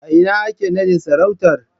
A ina ake nadin sarautar?